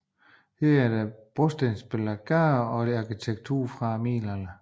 Her er der brostensbelagte gader og arkitektur fra middelalderen